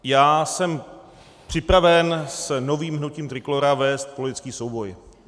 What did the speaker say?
Já jsem připraven s novým hnutím Trikolóra vést politický souboj.